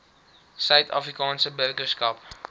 suid afrikaanse burgerskap